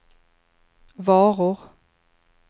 varor